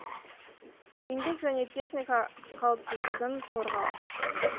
еңбек және техника қауіпсіздігін қорғау